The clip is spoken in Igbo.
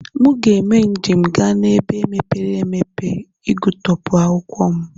Mụ ga eme njem ga n'ebe mepere emepe igụtọpu akwụkwọ m.